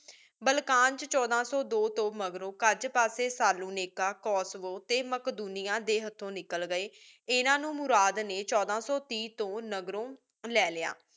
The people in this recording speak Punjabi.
ਬਾਲ੍ਕਨ ਵਿਚ ਛੋਡਾ ਸੋ ਦੋ ਤੋ ਮਾਘ੍ਰੋ ਕਾਜ ਪਾਸੀ ਸਲੋਨੇਕਾ ਕੋਸਵੋ ਟੀ ਮਾਕ੍ਦੋਨਿਯਾਂ ਦੇ ਹਾਥੋ ਨਿਕਲ ਗਏ ਇਨਾ ਨੂ ਮੁਰਾਦ ਨੀ ਛੋਡਾ ਸੋ ਤੀਸ ਤੂ ਮਾਘ੍ਰੋ ਲੈ ਲਿਯਾ